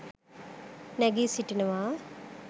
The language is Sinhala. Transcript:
නැගී සිටිනවා